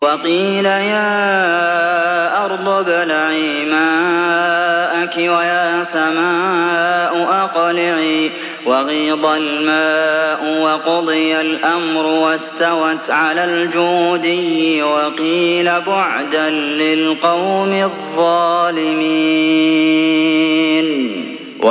وَقِيلَ يَا أَرْضُ ابْلَعِي مَاءَكِ وَيَا سَمَاءُ أَقْلِعِي وَغِيضَ الْمَاءُ وَقُضِيَ الْأَمْرُ وَاسْتَوَتْ عَلَى الْجُودِيِّ ۖ وَقِيلَ بُعْدًا لِّلْقَوْمِ الظَّالِمِينَ